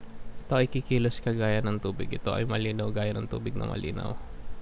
ito ay kikilos kagaya ng tubig ito ay malinaw gaya ng tubig na malinaw